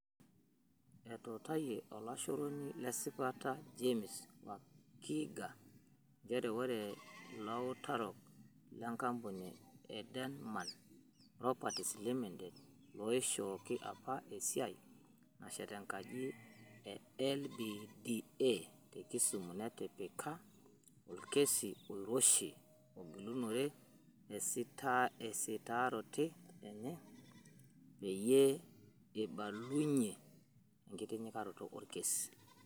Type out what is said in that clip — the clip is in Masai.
Etutayia olashoroni le sipata James Wakiaga njere ore ilautarok le nkampuni e Erdemann Properties Ltd looishoki apa esiai nashet enkaji e LBDA te Kisumu netipika olkesi oiroshi ogilinure esitarote enye peyie ibalunyia enkitinyikaroto orkesi.